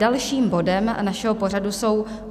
Dalším bodem našeho programu jsou